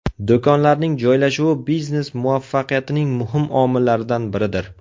Do‘konlarning joylashuvi biznes muvaffaqiyatining muhim omillaridan biridir.